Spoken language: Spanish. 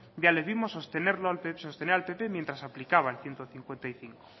ya le vimos sostener al pp mientras aplicaba el ciento cincuenta y cinco